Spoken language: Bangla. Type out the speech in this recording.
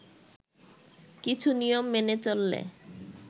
কিছু নিয়ম মেনে চললে